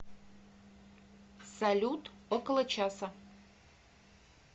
салют около часа